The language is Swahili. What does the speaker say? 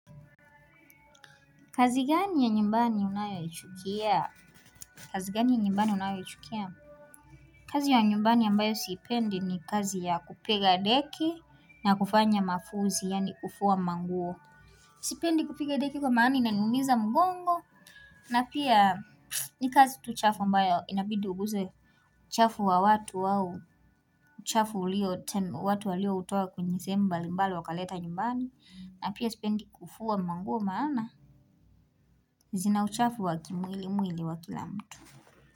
Kazi gani ya nyumbani unayoichukia. Kazi gani ya nyumbani unayoichukia. Kazi ya nyumbani ambayo sipendi ni kazi ya kupiga deki na kufanya mafuzi, yani kufua manguo. Sipendi kupiga deki kwa maana inaniumiza mgongo, na pia ni kazi tu chafu ambayo inabidi uguze uchafu wa watu au, uchafu ulio, watu walioutoa kwenye sehemu mbalimbali wakaleta nyumbani, na pia sipendi kufua manguo maana. Zina uchafu waki mwili mwili wa kila mtu.